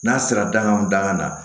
N'a sera danga daŋan na